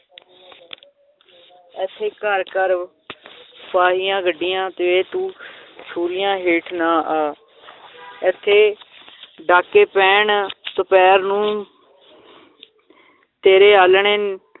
ਏਥੇ ਘਰ ਘਰ ਫਾਹੀਆਂ ਗੱਡੀਆਂ ਤੇ ਤੂੰ ਛੁਰੀਆਂ ਹੇਠ ਨਾ ਆ ਏਥੇ ਡਾਕੇ ਪੈਣ ਦੁਪਹਿਰ ਨੂੰ ਤੇਰੇ ਆਲ੍ਹਣੇ